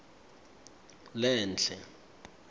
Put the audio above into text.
lenhle